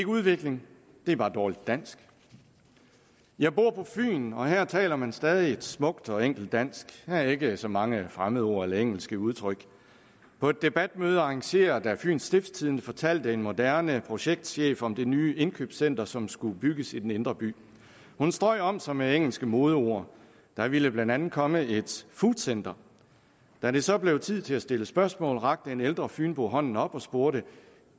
udvikling det er bare dårligt dansk jeg bor på fyn og her taler man stadig et smukt og enkelt dansk der er ikke så mange fremmedord eller engelske udtryk på et debatmøde arrangeret af fyens stiftstidende fortalte en moderne projektschef om det nye indkøbscenter som skulle bygges i den indre by hun strøg om sig med engelske modeord der ville blandt andet komme et foodcenter da det så blev tid til at stille spørgsmål rakte en ældre fynbo hånden op og spurgte